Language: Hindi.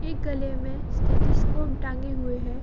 एक गले में स्टेथोस्कोप टाँगे हुए है।